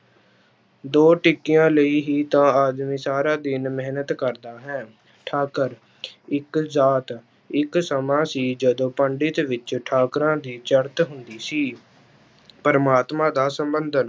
ਦੋ ਟਿੱਕੀਆਂ ਲਈ ਹੀ ਤਾਂ ਆਦਮੀ ਸਾਰਾ ਦਿਨ ਮਿਹਨਤ ਕਰਦਾ ਹੈ, ਠਾਕਰ ਇੱਕ ਜਾਤ ਇੱਕ ਸਮਾਂ ਸੀ ਜਦੋਂ ਪੰਡਿਤ ਵਿੱਚ ਠਾਕਰਾਂ ਦੀ ਚੜ੍ਹਤ ਹੁੰਦੀ ਸੀ, ਪ੍ਰਮਾਤਮਾ ਦਾ ਸੰਬੰਧ